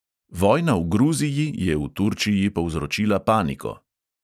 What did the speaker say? Vojna v gruziji je v turčiji povzročila paniko.